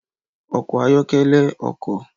Ọkọ ayọkẹlẹ ọkọ